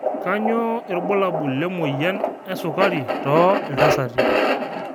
kanyio irbulabul le moyian esukari to ltasati